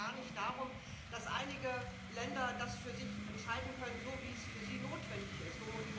Es geht mir auch gar nicht darum, dass einige Länder das für sich entscheiden können, so wie es für sie notwendig ist.